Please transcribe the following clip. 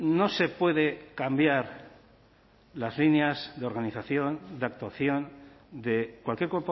no se puede cambiar las líneas de organización de actuación de cualquier